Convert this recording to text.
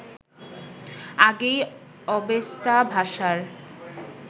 আগেই অবেস্তা ভাষার